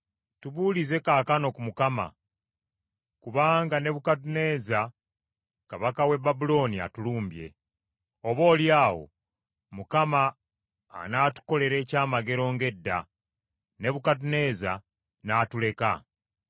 “Tubuulize kaakano ku Mukama kubanga Nebukadduneeza kabaka w’e Babulooni atulumbye. Oboolyawo Mukama anatukolera ekyamagero ng’edda, Nebukadduneeza n’atuleka.”